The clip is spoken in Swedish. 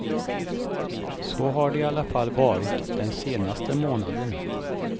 Så har det i alla fall varit den senaste månaden.